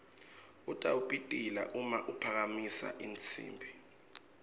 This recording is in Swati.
utawupitila uma aphakamisa tinsimbi